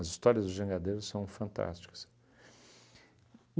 As histórias dos jangadeiros são fantásticas.